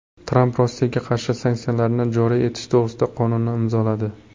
Tramp Rossiyaga qarshi sanksiyalarni joriy etish to‘g‘risidagi qonunni imzoladi.